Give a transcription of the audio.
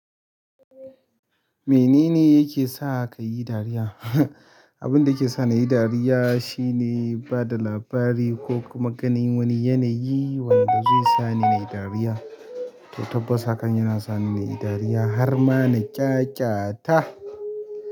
Menene yake sa kayi dariya. Abin da yake sa ni yi dariya shine ba da labari ko kuma ganin wani yanayi wanda zai sa ni nayi dariya. To tabbas hakan yana sa ni nayi dariya har ma na ƙyaƙyata.